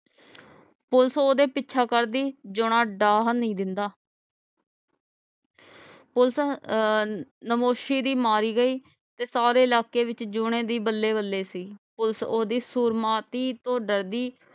police ਓਹਦਾ ਪਿੱਛਾ ਕਰਦੀ ਜੋਯਨਾ ਡਾਹਨ ਨਹੀਂ ਦਿੰਦਾ police ਅਹ ਨਮੋਸ਼ੀ ਦੀ ਮਾਰੀ ਗਈ ਤੇ ਸਾਰੇ ਇਲਾਕੇ ਵਿੱਚ ਜਯੋਨੇ ਦੀ ਬੱਲੇ ਬੱਲੇ ਸੀ police ਓਹਦੀ ਸੁਰਮਾਰਤੀ ਤੋਂ ਡਰਦੀ